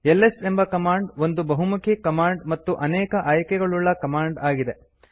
LS ಎಂಬ command ಒಂದು ಬಹುಮುಖಿ ಕಮಾಂಡ್ ಮತ್ತು ಅನೇಕ ಆಯ್ಕೆಗಳುಳ್ಳ ಕಮಾಂಡ್ ಆಗಿದೆ